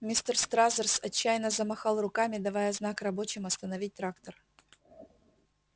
мистер стразерс отчаянно замахал руками давая знак рабочим остановить трактор